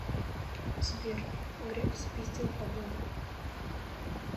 сбер греф спиздил бабла